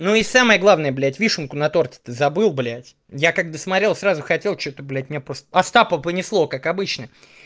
ну и самое главное блядь вишенку на торте то забыл блядь я как досмотрел сразу хотел что-то блядь мне остапа понесло как обычно